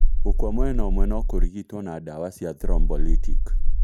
Gũkua mwena ũmwe, nokũrigitwo na ndawa cia thrombolytic